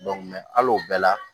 hali o bɛɛ la